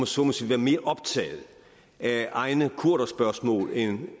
så må sige være mere optaget af egne kurderspørgsmål end